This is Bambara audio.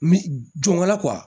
Jɔn wala